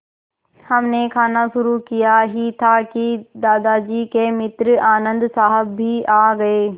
हमने खाना शुरू किया ही था कि दादाजी के मित्र आनन्द साहब भी आ गए